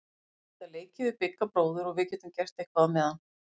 Þær geta leikið við Bigga bróður og við getum gert eitthvað á meðan.